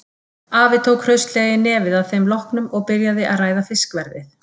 Afi tók hraustlega í nefið að þeim loknum og byrjaði að ræða fiskverðið.